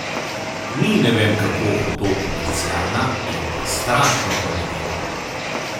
Ni ne vem kako hudo komercialna, je pa strašno kvalitetna.